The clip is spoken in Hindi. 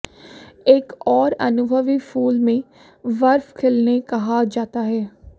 एक और अनुभवी फूल में बर्फ खिलने कहा जाता है